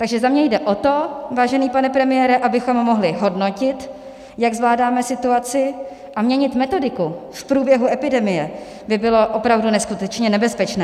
Takže za mne jde o to, vážený pane premiére, abychom mohli hodnotit, jak zvládáme situaci, a měnit metodiku v průběhu epidemie by bylo opravdu neskutečně nebezpečné.